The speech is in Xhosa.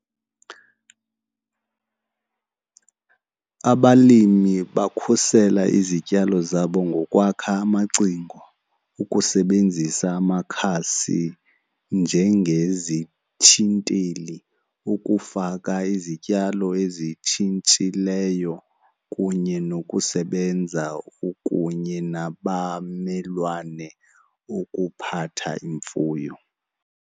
Abalimi bakhusele izityalo zabo ngokwakha amacingo, ukusebenzisa amakhasi njengezithinteli, ukufaka izityalo ezitshintshileyo kunye nokusebenza kunye nabamelwane ukuphatha imfuyo.